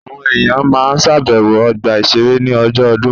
Àwọn èèyàn á ma ṣàbẹ̀wọ̀ ọgbà-ìṣeré ní ọjọ́ ọdún